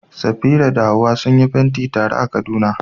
Safira da Hawwa sun yi fenti tare a Kaduna.